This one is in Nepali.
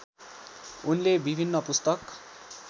उनले विभिन्न पुस्तक